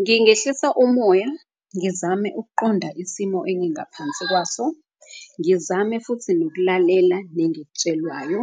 Ngingehlisa umoya ngizame ukuqonda isimo engingaphansi kwaso. Ngizame futhi nokulalela nengikutshelwayo